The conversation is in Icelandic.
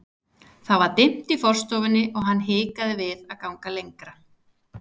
Það var dimmt í forstofunni og hann hikaði við að ganga lengra.